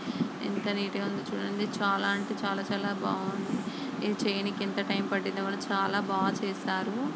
ఎంత నీట్ గ ఉందొ చుడండి చాలా అంటే చాలా చాలా బాగున్నది ఇది చెయ్యనికి ఎంత టైం పట్టిందో వాలు చాలా బాగా చేసారు.